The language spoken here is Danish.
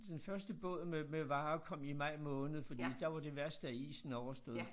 Den første båd med med varer kom i maj måned fordi der var det værste af isen overstået